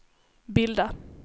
bilda